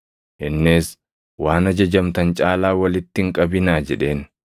Innis, “Waan ajajamtan caalaa walitti hin qabinaa” jedheen.